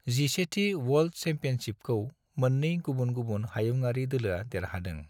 11थि world चेम्पीअन्शिपखौ मोननै गुबुन गुबुन हायुंआरि दोलोआ देरहादों।